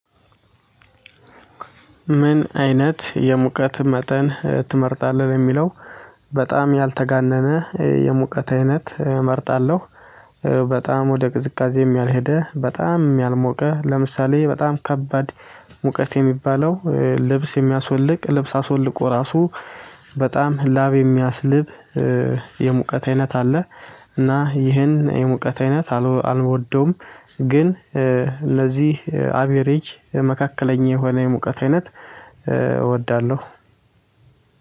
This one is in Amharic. ምን አይነት የሙቀት መጠን ትመርጣለህ ለሚለው? በጣም ያልተጋነነ የሙቀት አይነት እመርጣለሁ። በጣም ወደ ቅዝቃዜም ያልሄደ በጣም ያልሞቀ ለምሳሌ በጣም ከባድ። ሙቀት የሚባለው ልብስ የሚያስወልቅ ልብስ አስወልቆ ራሱ በጣም ላብ የሚያስልብ። የሙቀት አይነት አለ። እና ይሄን የሙቀት አይነት አልወደውም። ግን ለዚህ አቬሬጅ መካከለኛ የሆነ የሙቀት አይነት እወዳለሁ።